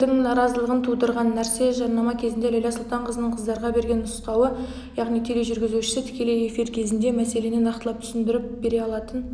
заңгердің наразалығын тудырған нәрсе жарнама кезінде ләйлә сұлтанқызының қыздарға берген нұсқауы яғни тележүргізуші тікелей эфир кезінде мәселені нақтылап түсіндіріп бере алатын